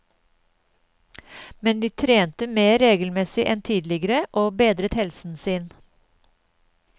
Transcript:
Men de trente mer regelmessig enn tidligere og bedret helsen sin.